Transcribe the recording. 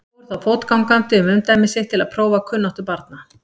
Fór þá fótgangandi um umdæmi sitt til að prófa kunnáttu barna.